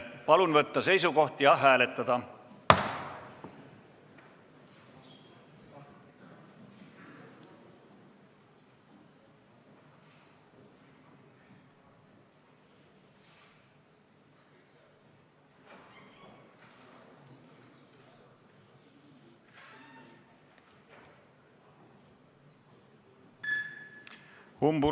Palun võtta seisukoht ja hääletada!